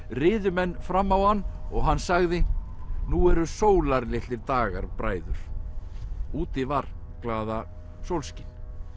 riðu menn fram á hann og hann sagði nú eru sólarlitlir dagar bræður úti var glaðasólskin